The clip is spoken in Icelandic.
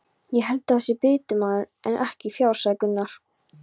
Ég held það sé bitamunur en ekki fjár, sagði Gunnar.